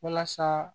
Walasa